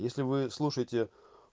если вы слушаете